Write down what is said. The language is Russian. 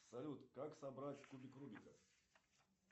салют как собрать кубик рубика